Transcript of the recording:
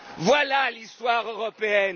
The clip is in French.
quoi. Voilà l'histoire européenne.